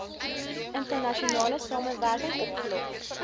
internasionale samewerking opgelos